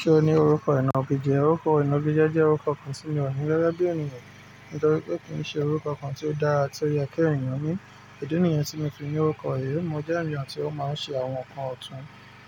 Ṣé o ní orúkọ ìná bíjẹ́? Orúkọ ìná bíjẹ́ jẹ́ orúkọ kan tí mi ò ní rara bí ènìyàn, nítorí pé kì í ṣe orúkọ kan tí ó dára tí ó yẹ kí èeyàn ní. Ìdí nìyẹn tí mo fi ní orúkọ yìí. Mo jẹ́ ènìyàn tí ó máa ń ṣe àwọn nǹkan ọ̀tún,